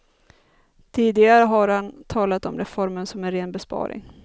Tidigare har han talat om reformen som en ren besparing.